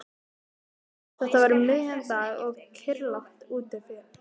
Þetta var um miðjan dag og kyrrlátt úti fyrir.